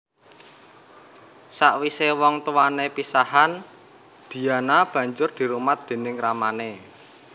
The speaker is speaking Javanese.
Sawisé wong tuwané pisahan Diana banjur dirumat déning ramané